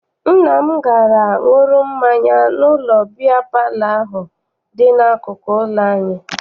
Nna m gara ṅụrụ mmanya n'ụlọ biya palọ ahụ dị n'akụkụ ụlọ anyị.